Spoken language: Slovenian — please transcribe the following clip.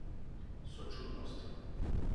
Sočutnostjo.